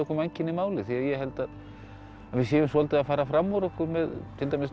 mannkynið máli því ég held að við séum svolítið að fara fram úr okkur til dæmis núna